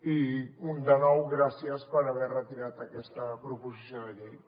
i de nou gràcies per haver retirat aquesta proposició de llei